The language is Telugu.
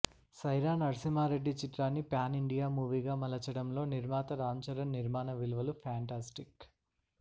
సైరా నర్సింహారెడ్డి చిత్రాన్ని ప్యాన్ ఇండియా మూవీగా మలచడంలో నిర్మాత రాంచరణ్ నిర్మాణ విలువలు ఫెంటాస్టిక్